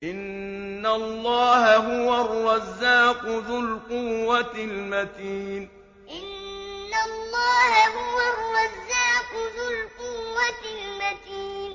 إِنَّ اللَّهَ هُوَ الرَّزَّاقُ ذُو الْقُوَّةِ الْمَتِينُ إِنَّ اللَّهَ هُوَ الرَّزَّاقُ ذُو الْقُوَّةِ الْمَتِينُ